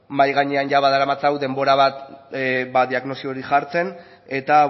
mahai gainean badaramatzagu denbora bat ba diagnosi hori jartzen eta